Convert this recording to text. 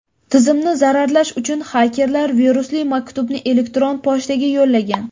Tizimni zararlash uchun xakerlar virusli maktubni elektron pochtaga yo‘llagan.